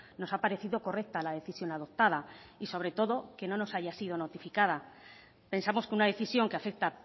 nos ha parecido correcta la decisión adoptada y sobre todo que no nos haya sido notificada pensamos que una decisión que afecta a